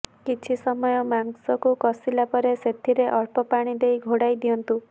କିଛି ସମୟ ମାଂସକୁ କଷିଲା ପରେ ସେଥିରେ ଅଳ୍ପ ପାଣି ଦେଇ ଘୋଡାଇ ଦିଅନ୍ତୁ